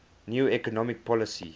new economic policy